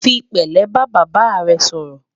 fí pèlé bá bàbá rè sòrò